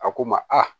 A ko n ma a